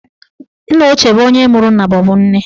Nneochie bụ onye mụrụ nna maọbụ nne.